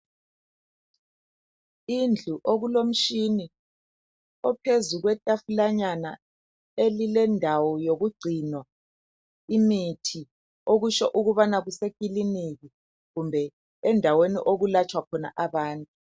indlu okulo mtshini ophezu kwetafulanyana elilendawo yokugcinwa imithi okutsho ukubana kuse kliniki kumbe endaweni okulatshwa khona abantu